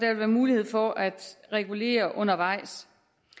vil være mulighed for at regulere undervejs